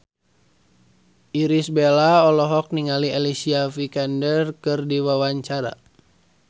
Irish Bella olohok ningali Alicia Vikander keur diwawancara